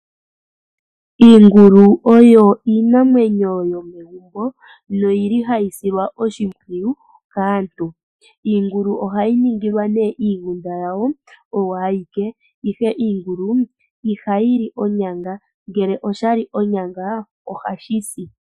Iingulu oyo iinamwenyo yomegumbo, noyi li hayi silwa oshimpwuyu kaantu. Iingulu oha yi ningilwa nee iigunda yawo oyo ayike, ihe iingulu ihayi li onyanga ngele sha li onyanga oha shi si.